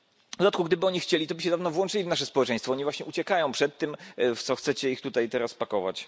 W dodatku, gdyby oni chcieli, to by się dawno włączyli w nasze społeczeństwo, a oni właśnie uciekają przed tym, w co chcecie ich teraz pakować.